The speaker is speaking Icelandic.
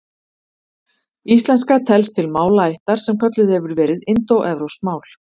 Íslenska telst til málaættar sem kölluð hefur verið indóevrópsk mál.